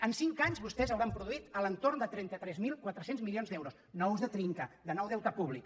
en cinc anys vostès hauran produït entorn de trenta tres mil quatre cents milions d’euros nous de trin·ca de nou deute públic